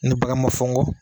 Ni bagn ma fɔ nkɔ